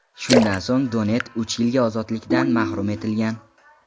Shundan so‘ng Donett uch yilga ozodlikdan mahrum etilgan.